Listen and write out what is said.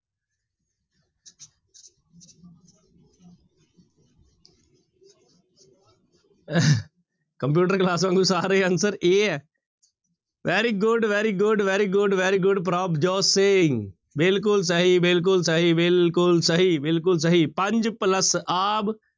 computer class ਵਾਂਗੂ ਸਾਰੇ answer a ਹੈ very good, very good, very good, very good Prabhjot Singh ਬਿਲਕੁਲ ਸਹੀ, ਬਿਲਕੁਲ ਸਹੀ, ਬਿਲਕੁਲ ਸਹੀ, ਬਿਲਕੁਲ ਸਹੀ ਪੰਜ plus ਆਬ